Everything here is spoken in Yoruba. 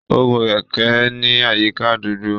O gun kẹkẹ ní àyíká àdúgbò.